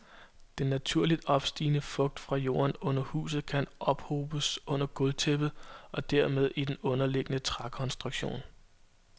Den naturligt opstigende fugt fra jorden under huset kan ophobes under gulvtæppet, og dermed i den underliggende trækonstruktion.